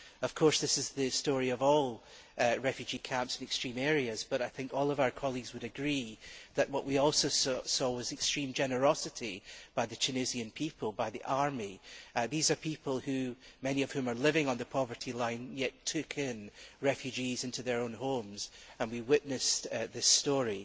Of course this is the story of all refugee camps in extreme areas, but I think all of our colleagues would agree that what we also saw was extreme generosity by the Tunisian people, by the army. These are people of whom many are living on the poverty line, yet they took refugees into their own homes and we witnessed this story.